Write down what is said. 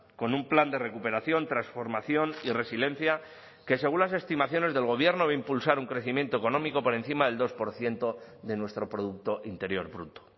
con un plan de recuperación transformación y resiliencia que según las estimaciones del gobierno va a impulsar un crecimiento económico por encima del dos por ciento de nuestro producto interior bruto